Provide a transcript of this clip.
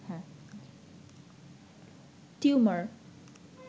tumour